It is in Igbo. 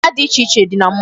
Mmanya dị iche dị na mall.